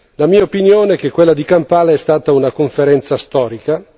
La mia opinione è che quella di Kampala sia stata una conferenza storica.